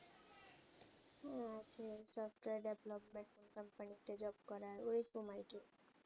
software development company তে job করা ঐই রকম I T